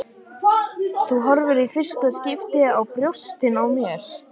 Þú horfir í fyrsta skipti á brjóstin á mér.